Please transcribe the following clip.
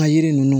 A yiri ninnu